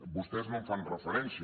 vostès no hi fan referència